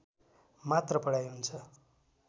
मात्र पढाइ हुन्छ